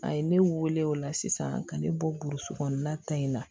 A ye ne wele o la sisan ka ne bɔ burusi kɔnɔna ta in na